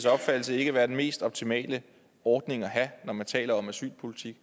opfattelse ikke være den mest optimale ordning at have når man taler om asylpolitik